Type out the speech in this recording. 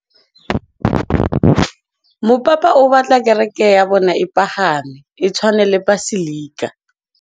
Mopapa o batla kereke ya bone e pagame, e tshwane le paselika.